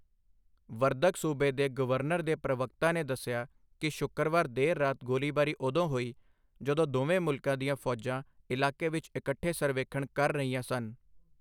ਵਰਦਕ ਸੂਬੇ ਦੇ ਗਵਰਨਰ ਦੇ ਪ੍ਰਵਕਤਾ ਨੇ ਦੱਸਿਆ ਕਿ ਸ਼ੁੱਕਰਵਾਰ ਦੇਰ ਰਾਤ ਗੋਲੀਬਾਰੀ ਉਦੋਂ ਹੋਈ ਜਦੋਂ ਦੋਵੇਂ ਮੁਲਕਾਂ ਦੀਆਂ ਫੌਜਾਂ ਇਲਾਕੇ ਵਿੱਚ ਇਕੱਠੇ ਸਰਵੇਖਣ ਕਰ ਰਹੀਆਂ ਸਨ।